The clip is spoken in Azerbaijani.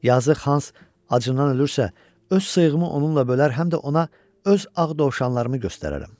Yazıq Hans acından ölürsə, öz sığımı onunla bölər, həm də ona öz ağ dovşanlarımı göstərərəm.